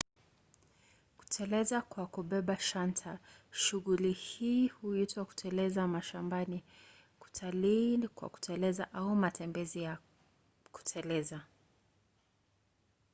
kuteleza kwa kubeba shanta: shughuli hii pia huitwa kuteleza mashambani kutalii kwa kuteleza au matembezi ya kuteleza